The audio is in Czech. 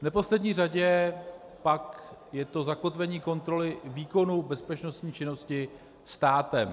V neposlední řadě pak je to zakotvení kontroly výkonu bezpečnostní činnosti státem.